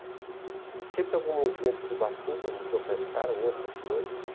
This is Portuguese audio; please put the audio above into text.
E sempre algum movimento de Ubatuba, Museu Caiçara ou outras coisas.